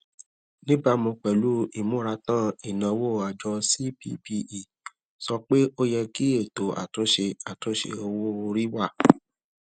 níbàámu pẹlú ìmúratán ìnáwó àjọ cppe sọ pé ó yẹ kí ètò àtúnṣe àtúnṣe owó orí wà